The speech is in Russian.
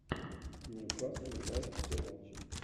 ньюкасл юнайтед все матчи